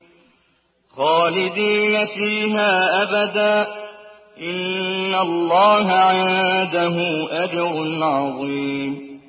خَالِدِينَ فِيهَا أَبَدًا ۚ إِنَّ اللَّهَ عِندَهُ أَجْرٌ عَظِيمٌ